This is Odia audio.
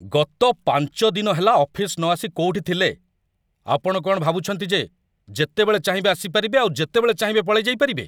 ଗତ ୫ ଦିନ ହେଲା ଅଫିସ୍‌ ନଆସି କୋଉଠି ଥିଲେ? ଆପଣ କ'ଣ ଭାବୁଚନ୍ତି ଯେ ଯେତେବେଳେ ଚାହିଁବେ ଆସିପାରିବେ ଆଉ ଯେତେବେଳେ ଚାହିଁବେ ପଳେଇଯାଇପାରିବେ?